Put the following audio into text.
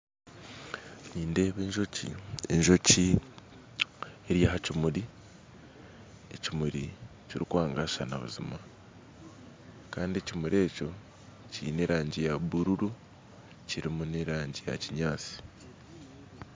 Nindeeba enjoki, enjoki eri aha kimuri, ekimuri kirikwagashaana buzima kandi ekimuri ekyo kyine erangi ya buluulu kirimu n'erangi yakinyaatsi